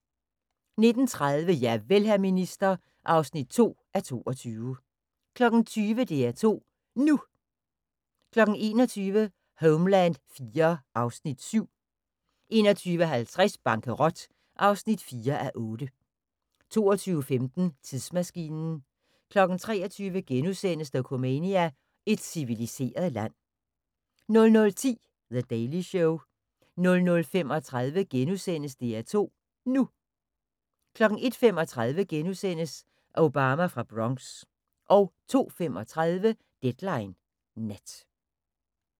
19:30: Javel, hr. minister (2:22) 20:00: DR2 NU 21:00: Homeland IV (Afs. 7) 21:50: Bankerot (4:8) 22:15: Tidsmaskinen 23:00: Dokumania: Et civiliseret land * 00:10: The Daily Show 00:35: DR2 NU * 01:35: Obama fra Bronx * 02:35: Deadline Nat